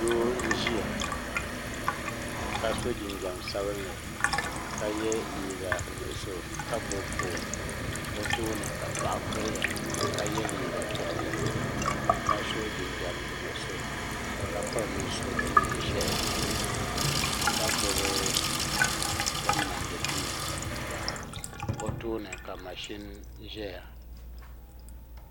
doo m ʒiya ka so jinjɛm sabinli ka yɛ liiga nuɣso ka gbubi foon o tooni ka paɣa kuriya ka yɛ liiga piɛlli ka so jinjɛm nuɣso ka piri nusuriti ʒiɛhi ka gbubi din mindi duu o tooni ka mashin ʒɛya